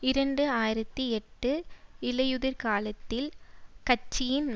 இரண்டு ஆயிரத்தி எட்டு இலையுதிர்காலத்தில் கட்சியின்